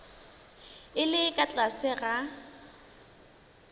e le ka tlase ga